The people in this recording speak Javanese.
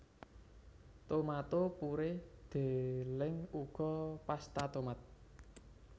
Tomato purée deleng uga pasta tomat